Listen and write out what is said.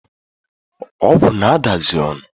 Ogwu na-adazi onu